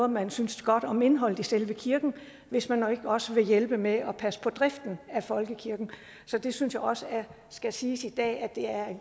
man synes godt om indholdet i selve kirken hvis man ikke også vil hjælpe med at passe på driften af folkekirken så det synes jeg også skal siges i dag det er